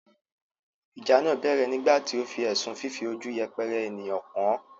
ìjà náà bẹ̀rẹ̀ nígbà tí ó fi ẹ̀sùn fífi ojú yẹpẹrẹ ènìyàn kàn án.